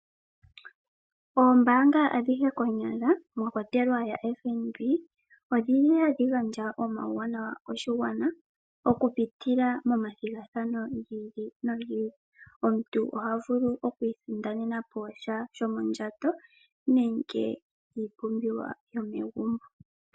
Oombaanga adhihe konyala mwakwatelwa yaFNB , odhi li hadhi gandja omauwanawa koshilongo okupitila momathigathano giili nogiili . Omuntu oha vulu okwiisindanena po sha shomondjato nenge iipumbiwa yomegumbo.